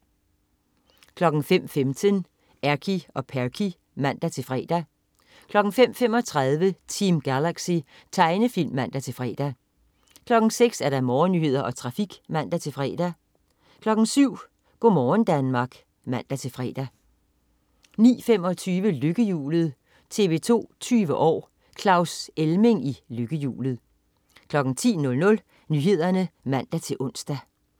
05.15 Erky og Perky (man-fre) 05.35 Team Galaxy. Tegnefilm (man-fre) 06.00 Morgennyheder og trafik (man-fre) 07.00 Go' morgen Danmark (man-fre) 09.25 Lykkehjulet. TV 2 20 år: Claus Elming i Lykkehjulet 10.00 Nyhederne (man-ons)